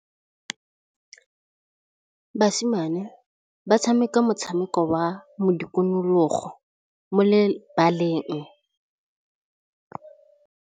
Basimane ba tshameka motshameko wa modikologô mo lebaleng.